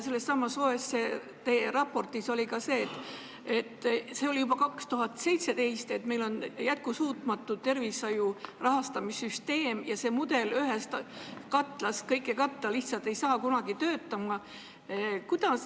Sellessamas OECD raportis oli kirjas ka see, et juba 2017. aastal oli meil jätkusuutmatu tervishoiu rahastamise süsteem ja et see mudel, see ühest katlast kõige katmine lihtsalt ei hakka kunagi töötama.